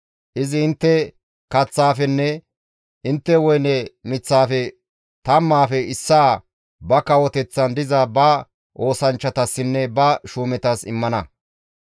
Izi intte kaththaafenne intte woyne miththaafe tammaafe issaa ba kawoteththan diza ba oosanchchatassinne ba shuumetas immana.